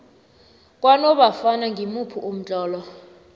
kwanofana ngimuphi umtlolo